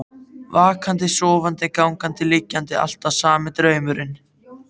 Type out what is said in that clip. Vakandi, sofandi, gangandi, liggjandi, alltaf sami draumurinn.